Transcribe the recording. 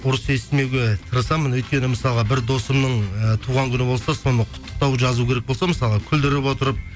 ұрыс естімеуге тырысамын өйткені мысалға бір досымның ііі туған күні болса соны құттықтау жазу керек болса мысалға күлдіріп отырып